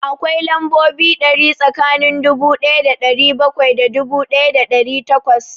Akwai lambobi ɗari tsakanin dubu ɗaya da ɗari bakwai da dubu ɗaya da ɗari takwas